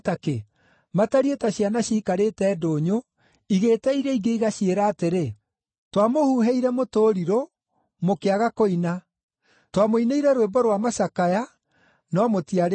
Matariĩ ta ciana ciikarĩte ndũnyũ igĩĩta iria ingĩ, igaciĩra atĩrĩ: “ ‘Twamũhuhĩire mũtũrirũ, mũkĩaga kũina; twamũinĩire rwĩmbo rwa macakaya, no mũtiarĩrire.’